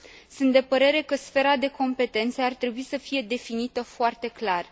Sunt de părere că sfera de competență ar trebui să fie definită foarte clar.